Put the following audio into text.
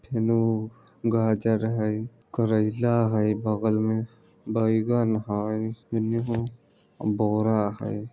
इन्हू गाजर हेय करेला हेय बगल मे बैगन हेय इन्हू बोरा हेय।